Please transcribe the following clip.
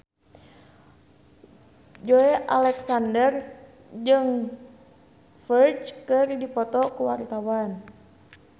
Joey Alexander jeung Ferdge keur dipoto ku wartawan